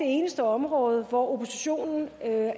eneste område hvor oppositionen er